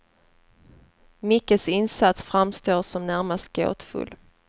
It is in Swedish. Mickes insats framstår som närmast gåtfull.